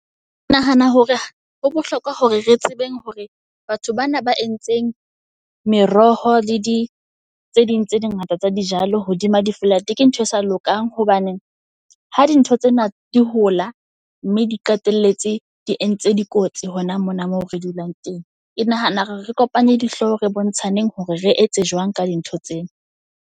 Ke nahana hore ho bohlokwa hore re tsebeng hore batho bana ba entseng meroho le di tse ding tse di ngata tsa di jalo hodima di flat, ke ntho e sa lokang. Hobaneng ha di ntho tsena di hola, mme di qetelletse di entse dikotsi hona mona moo re dulang teng. Ke nahana hore re kopanye dihlooho re bontshaneng hore re etse jwang ka di ntho tsena.